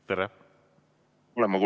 Tere!